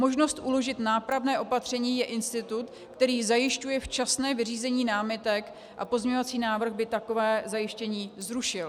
Možnost uložit nápravné opatření je institut, který zajišťuje včasné vyřízení námitek, a pozměňovací návrh by takové zajištění zrušil.